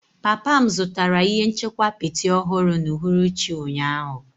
Papa m zụtara ihe nchekwa apịtị ọhụrụ n'uhuruchi ụnyaahụ.